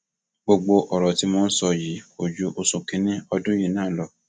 gbogbo ọrọ tí mò ń sọ yìí kò ju inú oṣù kínínní ọdún yìí náà lọ